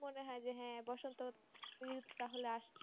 মনে হয় যে হ্যাঁ বসন্ত তাহলে আসছে